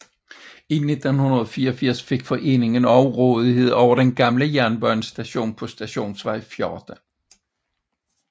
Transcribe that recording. I 1984 fik foreningen også rådighed over den gamle jernbanestation på Stationsvej 14